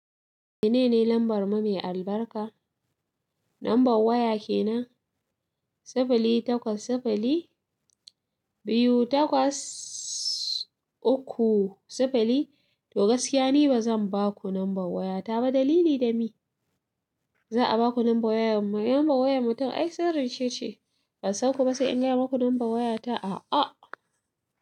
Menene lambar mu mai albarka? Lambar waya kenan, sifili takwas sifili biyu takwas uku sifili. To gaskiya ni ba zan ba ku lambar waya ta ba, dalili da mi. Za a ba ku lambar wayar mu, lambar wayar mutum ai sirri ce ce. Ban san ku ba sai in gaya maku lambar waya ta, a a.